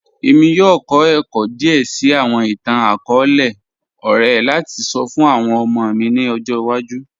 ẹ̀mí yọọ̀ kọ̀ ẹ̀kọ́ díè síì awọn ìtàn-akọọlẹ̀ ọ̀rẹ̀ lati sọ̀ fun awọn ọmọ mi ni ọ̀jọ́ iwaju